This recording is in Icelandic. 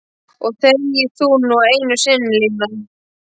Og þegi þú nú einu sinni Lína!